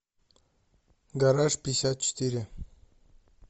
гараж пятьдесят четыре